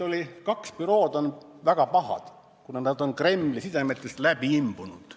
Oli nii, et kaks bürood on väga pahad, kuna nad on Kremli sidemetest läbi imbunud.